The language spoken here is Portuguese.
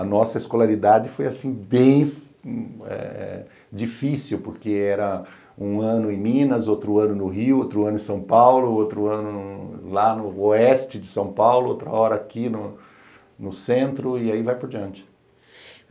A nossa escolaridade foi assim bem eh difícil, porque era um ano em Minas, outro ano no Rio, outro ano em São Paulo, outro ano lá no oeste de São Paulo, outra hora aqui no centro, e aí vai por diante.